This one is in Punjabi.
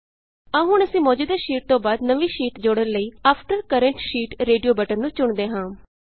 ਆਉ ਹੁਣ ਅਸੀਂ ਮੌਜੂਦਾ ਸ਼ੀਟ ਤੋਂ ਬਾਅਦ ਨਵੀਂ ਸ਼ੀਟ ਜੋੜਨ ਲਈ after current sheet after current sheet radio button ਨੂੰ ਚੁਣਦੇ ਹਾਂ